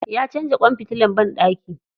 Ya canza kwan fitilan banɗaki.